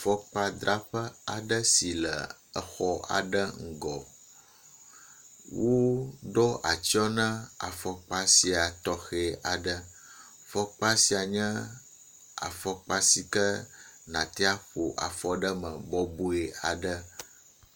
Afɔdzraƒe aɖe si le exɔ aɖe ŋgɔ. Woɖo atsyɔ na afɔkpa sia tɔxe aɖe. afɔkpa sia nye afɔkpa si nàte aƒo afɔ ɖe me bɔbɔe.